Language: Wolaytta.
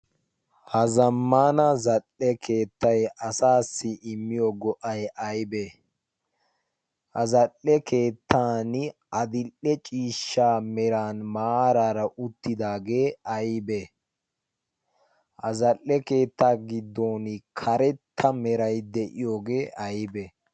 Ha zammana zal7eee keettay asaassi immiyo go77ay aybbee? ha zal7ee keettan adil7ee ciishsha meran maaraara uttidaagee aybbee? ha zal7ee keettaa giddon karetta meray de7iyoogee aybbe?